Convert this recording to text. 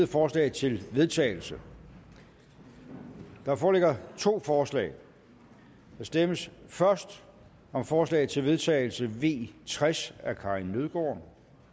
forslag til vedtagelse der foreligger to forslag der stemmes først om forslag til vedtagelse v tres af karin nødgaard